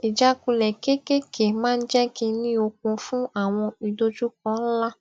ìjákulè kéékèèké máa ń jé kí n ní okun fún àwọn idojukọ ńlá